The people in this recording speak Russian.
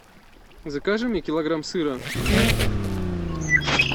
закажи мне килограмм сыра